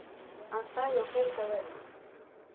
Hann þagði og beit á vörina.